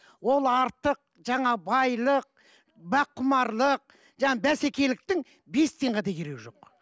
ол артық жаңа байлық баққұмарлық жаңа бәсекеліктің бес тиынға да керегі жоқ